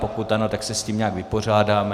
Pokud ano, tak se s tím nějak vypořádáme.